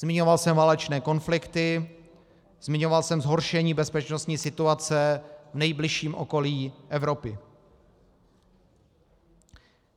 Zmiňoval jsem válečné konflikty, zmiňoval jsem zhoršení bezpečnostní situace v nejbližším okolí Evropy.